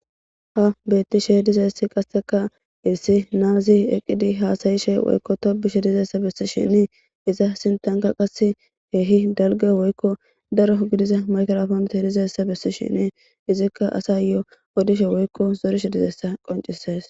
Ha betishe dizaysi qaseka issi nazi eqidi hasa'she woyko tobishe dizaysa besishen iza sintanka qase kehi daliga woyko daro gidiza maygiraponeti dizaysa besishin izika asayo odishe woyko zarishe dizaysa qonc'ises.